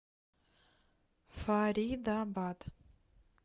фаридабад